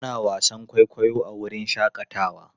Ana wasan kwaikwayo a wurin shakatawa.